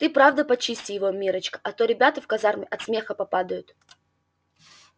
ты правда почисти его миррочка а то ребята в казарме от смеха попадают